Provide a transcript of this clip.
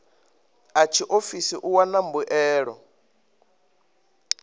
a tshiofisi u wana mbuelo